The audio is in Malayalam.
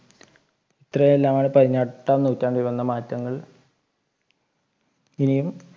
ഇത്രെയുമെല്ലാമാണ് പതിനെട്ടാം നൂറ്റാണ്ടിൽ വന്ന മാറ്റങ്ങൾ ഇനിയും.